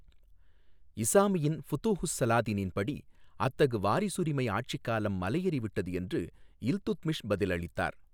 இசாமியின் ஃபுதூஹுஸ் ஸலாதீனின் படி, அத்தகு வாரிசுரிமை ஆட்சிக் காலம் மலையேறிவிட்டது என்று இல்துத்மிஷ் பதிலளித்தார்.